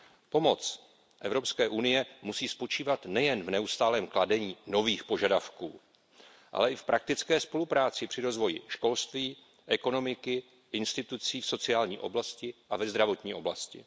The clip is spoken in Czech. Pomoc Evropské unie musí spočívat nejen v neustálém kladení nových požadavků, ale i v praktické spolupráci při rozvoji školství, ekonomiky, institucí v sociální a zdravotní oblasti.